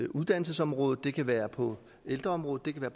uddannelsesområdet det kan være på ældreområdet det kan